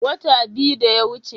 Wata biyu da yawuce.